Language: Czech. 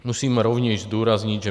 Musím rovněž zdůraznit, že